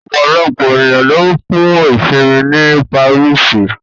Ọ̀pọ̀lọpọ̀ ènìyàn lọ fún ìṣinmí ní Paríṣì